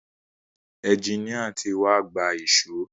Ẹjiníà tí wá gba èṣó.